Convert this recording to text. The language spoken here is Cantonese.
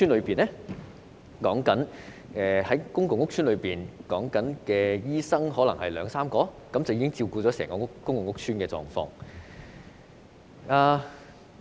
現時公共屋邨的醫生比例是2至3名醫生，照顧整個屋邨的需要。